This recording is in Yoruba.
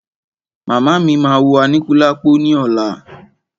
Màmá mí máa wo Aníkúlápò ní ọ̀la.